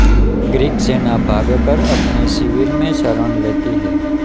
Greek सेना भागकर अपने शिविर में शरण लेती है